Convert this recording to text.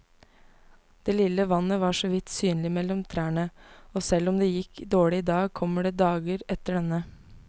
Det lille vannet var såvidt synlig mellom trærne, og selv om det gikk dårlig i dag, kommer det dager etter denne.